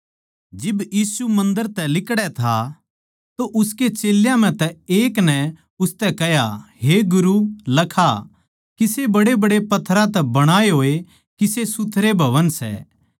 जिब यीशु मन्दर तै लिकड़ै था तो उसकै चेल्यां म्ह तै एक नै उसतै कह्या हे गुरू लखा किसे बड्डेबड्डे पत्थरां तै बणाये होए किसे सुथरे भवन सै